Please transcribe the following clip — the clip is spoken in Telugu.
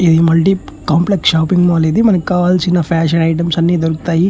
ఈ మల్టీ కాంప్లెక్స్ షాపింగ్ మాల్ ఇది. మనకి కావాల్సిన ఫాషన్ ఐటమ్స్ అన్ని దొరుకుతాయి.